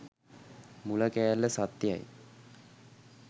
මුල කෑල්ල සත්‍යයි